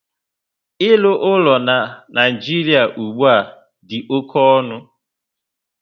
Ịlụ ụlọ na Naijiria ugbua dị oké ọnụ